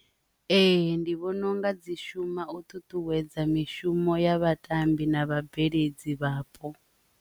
Ee, ndi vhona unga dzi shuma u ṱuṱuwedza mishumo ya vhatambi na vha bveledzi vhapo.